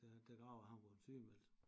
Den graver han var sygemeldt